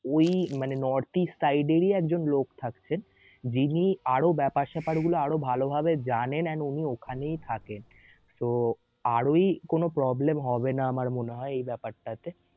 ওই মানে north east side এর ই একজন লোক থাকছে যিনি আরও বেপার সেপার গুলো আরও ভালভাবে জানেন and উনি ওখানেই থাকেন so আর ওই কোন problem হবেনা আমার মনেহয় এই বেপার টা তে